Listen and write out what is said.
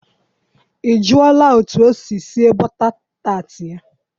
I jụọla e tu osi esi bota taat ya?